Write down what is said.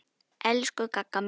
Elsku Gagga mín.